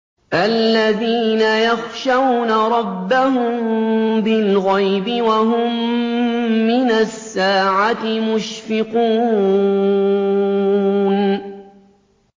الَّذِينَ يَخْشَوْنَ رَبَّهُم بِالْغَيْبِ وَهُم مِّنَ السَّاعَةِ مُشْفِقُونَ